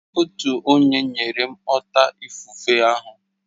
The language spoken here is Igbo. Otu enyi nyere m ọta ifufe ahụ